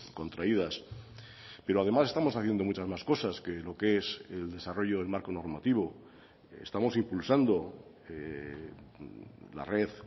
contraídas pero además estamos haciendo muchas más cosas que lo que es el desarrollo del marco normativo estamos impulsando la red